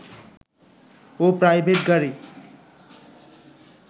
ও private গাড়ী